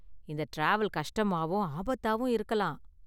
இந்த டிராவல் கஷ்டமாவும் ஆபத்தாவும் இருக்கலாம்.